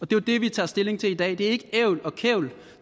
det er det vi tager stilling til i dag det er ikke ævl og kævl